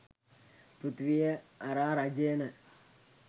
පෘථිවිය අරා රජයන